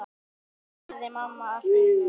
spurði mamma allt í einu.